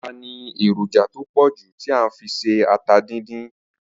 Ata ni èròjà to pòjù ti a n fi ṣe ata díndín.